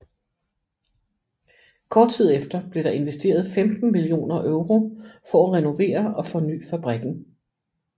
Kort tid efter blev der investeret 15 millioner euro for at renovere og forny fabrikken